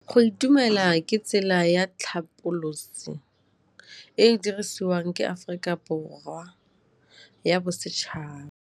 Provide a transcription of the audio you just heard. Go itumela ke tsela ya tlhapolisô e e dirisitsweng ke Aforika Borwa ya Bosetšhaba.